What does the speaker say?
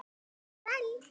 Far vel!